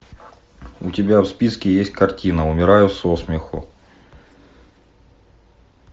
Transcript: у тебя в списке есть картина умираю со смеху